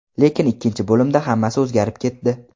Lekin ikkinchi bo‘limda hammasi o‘zgarib ketdi.